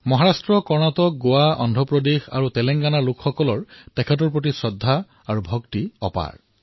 মহাৰাষ্ট্ৰ কৰ্ণাটক গোৱা অন্ধ্ৰ প্ৰদেশ তেলেংগানাৰ জনতাৰ তেওঁৰ প্ৰতি অপাৰ শ্ৰদ্ধা আৰু ভক্তি আছে